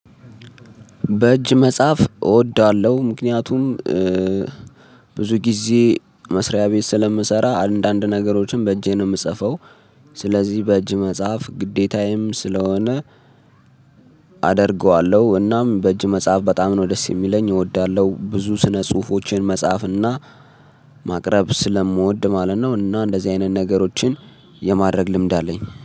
በእጅ መጻፍ እወደዋለሁ ምክንያቱም ብዙ ጊዜ መስሪያ ቤት ስለምሰራ አንዳንድ ነገሮችን በእጄ ነው የምጽፈው። ስለዚህ በእጅ መጻፍ ግዴታዬም ስለሆነ። አደርገዋለሁ እናም በእጅ መጽሐፍ በጣም ነው ደስ የሚለኝ እወዳለሁ ብዙ ስነ ጽሁፎችን መጻፍና ማቅረብ ስለምወድ ማለት ነው። እና እንደዚህ አይነት ነገሮችን የማድረግ ልምድ አለኝ